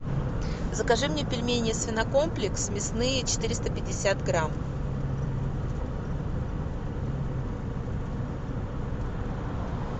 закажи мне пельмени свинокомплекс мясные четыреста пятьдесят грамм